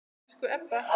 Elsku Ebba.